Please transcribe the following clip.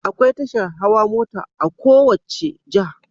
Akwai tashar hawa mota a kowacce jiha